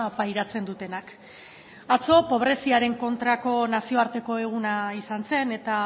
pairatzen dutenak atzo pobreziaren kontrako nazioarteko eguna izan zen eta